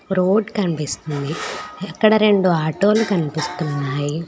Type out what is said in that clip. Road కనిపిస్తుంది ఇక్కడ రెండు ఆటో లు కనిపిస్తున్నాయి.